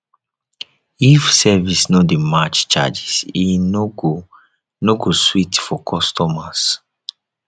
if service no dey match charges e no go no go sweet for customers